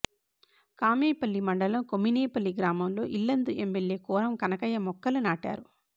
కామేపల్లి మండలం కొమ్మినేపల్లి గ్రామంలో ఇల్లందు ఎమ్మెల్యే కోరం కనకయ్య మొక్కలు నాటారు